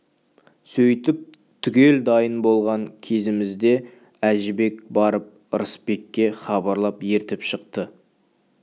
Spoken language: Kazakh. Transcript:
сөйтіп түгел дайын болған кезімізде әжібек барып ырысбекке хабарлап ертіп шықты